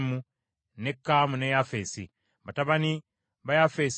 Nuuwa n’azaala Seemu, ne Kaamu ne Yafeesi.